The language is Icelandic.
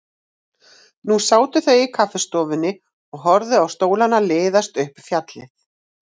Nú sátu þau í kaffistofunni og horfðu á stólana liðast upp fjallið.